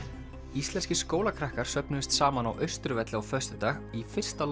íslenskir skólakrakkar söfnuðust saman á Austurvelli á föstudag í fyrsta